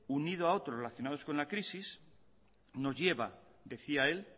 unido a otros relacionados con la crisis nos lleva decía él